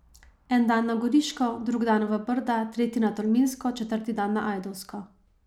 En dan na Goriško, drugi dan v Brda, tretji na Tolminsko, četrti dan na Ajdovsko ...